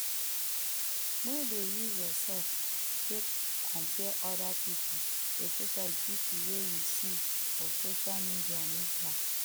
no dey use yourself take compare oda pipo especially pipo wey you see for social media media